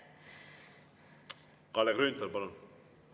Kalle Grünthal, palun!